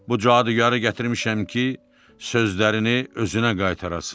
Bu cadugarı gətirmişəm ki, sözlərini özünə qaytarasız.